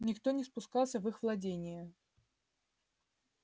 никто не спускался в их владения